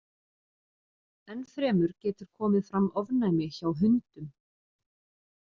Enn fremur getur komið fram ofnæmi hjá hundum.